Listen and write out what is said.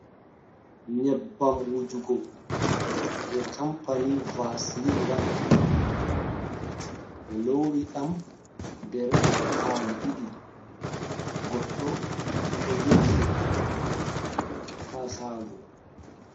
Nyebbam wujugo je campany vasilin wadata, be lowi dam der pali 2 goddo do jogi de ha shago.